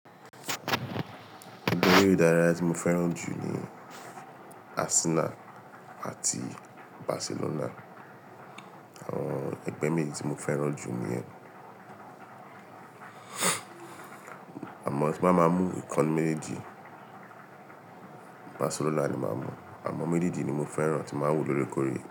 Ẹgbẹ́ eré ìdárayá tí mo fẹ́ràn jù ni Arsenal àti Barcelona. Àwọn ẹgbẹ́ méjì tí mo fẹ́ràn jù nìyẹn. Àmọ́ tí mbá máa mú ìkan nínú méjèèjì, Barcelona ni máa mú. Àmọ́ méjèèjì ni mo fẹ́ràn tí n máa ń wò lórekóore.